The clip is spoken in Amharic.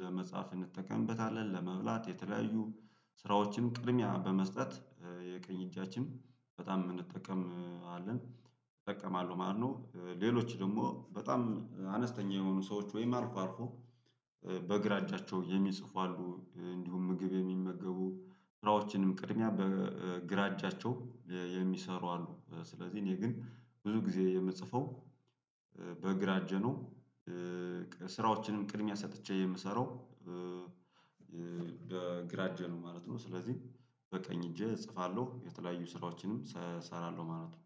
ለመጻፍ እንጠቀምበታለን ለመብላት የተለያዩ ስራዎችን ቅድሚያ በመስጠት የቀኝ እጃችን በጣም እንጠቀምአለን እጠቀማለሁ ማለት ነው። ሌሎች ደግሞ በጣም አነስተኛ የሆኑ ሰዎች ወይም አልፎ አልፎ በግራ እጃቸው የሚጽፉ አሉ እንዲሁም ምግብ የሚመገቡ ስራዎችንም ቅድሚያ በእ ግራ እጃቸው እ የሚሰሩ አሉ። ስለዚህ እኔ ግን ብዙ ጊዜ የምጽፈው በእግራ እጄ ነው። በስራዎችንም ቅድሚያ ሰጥቼ የምሰራው በግራ እጄ ነው ማለት ነው። ስለዚህ በቀኝ እጄ እጽፋለሁ የተለያዩ ስራዎችንም ሰእሰራለሁ ማለት ነው